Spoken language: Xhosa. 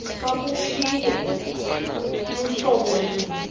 babuphile luhlobo luni